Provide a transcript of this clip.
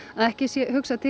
að ekki sé hugsað til